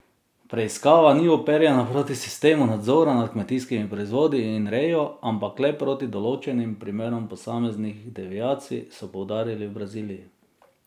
Preiskava ni uperjena proti sistemu nadzora nad kmetijskimi proizvodi in rejo, ampak le proti določenim primerom posameznih deviacij, so poudarili v Braziliji.